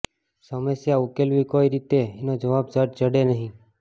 સમસ્યા ઉકેલવી કઈ રીતે એનો જવાબ ઝટ જડે નહીં